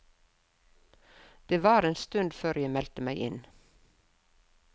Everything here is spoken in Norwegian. Det var en stund før jeg meldte meg inn.